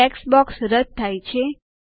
text box રદ્દ થાય છે